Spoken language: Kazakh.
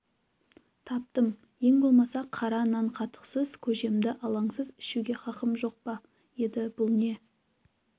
таптым ең болмаса қара нан қатықсыз көжемді алаңсыз ішуге хақым жоқ па еді бұл не